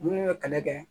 Minnu bɛ kɛlɛ kɛ